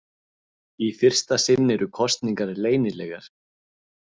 Í fyrsta sinn eru kosningarnar leynilegar.